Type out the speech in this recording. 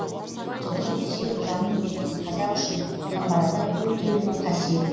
жылқы десе жанын беретін қазақ үшін қамбар ата төлінің қасиеті